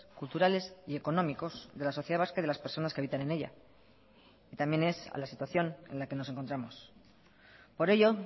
culturales y económicos de la sociedad vasca y de las personas que habitan en ella también es a la situación en la que nos encontramos por ello